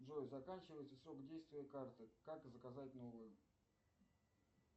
джой заканчивается срок действия карты как заказать новую